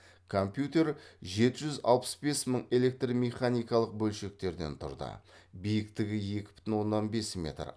компьютер жеті жүз алпыс бес мың электромеханикалық бөлшектерден тұрды биіктігі екі бүтін оннан бес метр